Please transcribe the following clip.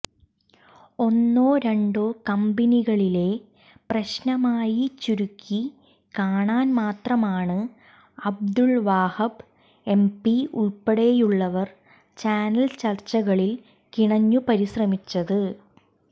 ഒന്നോ രണ്ടോ കമ്പനികളിലെ പ്രശ്നമായി ചുരുക്കി കാണാൻ മാത്രമാണ് അബ്ദുൽ വഹാബ് എംപി ഉൾപ്പെടെയുള്ളവർ ചാനൽ ചർച്ചകളിൽ കിണഞ്ഞു പരിശ്രമിച്ചത്